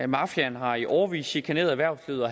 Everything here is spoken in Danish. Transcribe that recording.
mafiaen har i årevis chikaneret erhvervslivet